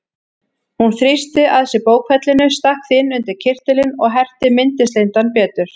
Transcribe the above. Hún þrýsti að sér bókfellinu, stakk því inn undir kyrtilinn og herti mittislindann betur.